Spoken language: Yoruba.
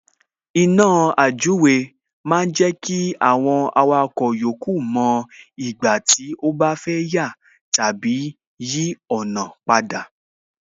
Iná àjúwe ma ń jẹ́ kí àwọn awakọ̀ yòókù mo ìgbà tí ó bá fẹ́ yà tàbí yí ọ̀nà padà